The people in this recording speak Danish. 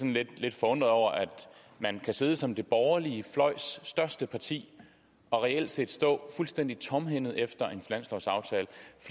lidt forundret over at man kan sidde som den borgerlige fløjs største parti og reelt set stå fuldstændig tomhændet efter